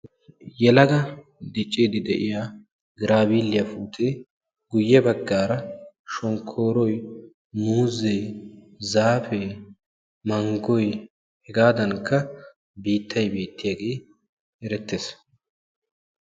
Yelaga dicciidi de'iya giraabiiliya puutte, guyye baggaara shonkkooroy, muuzee, zaafee, manggoy hegaaddankka biittay beettiyage erettees.